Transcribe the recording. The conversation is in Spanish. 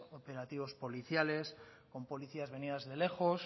operativos policiales con policías venidas de lejos